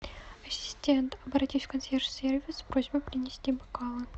ассистент обратись в консьерж сервис с просьбой принести бокалы